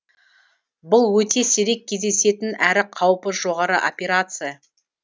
бұл өте сирек кездесетін әрі қаупі жоғары операция